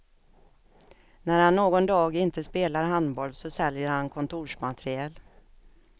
När han någon dag inte spelar handboll så säljer han kontorsmateriel.